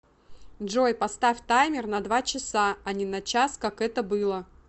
джой поставь таймер на два часа а не на час как это было